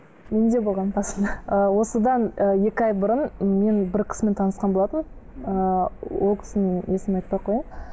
менде болған басында ы осыдан ы екі ай бұрын мен бір кісімен танысқан болатынмын ііі ол кісінің есімін айтпа ақ қояйын